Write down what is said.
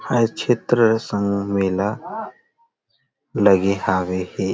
हर क्षेत्र संग मेला लगे हावे हे --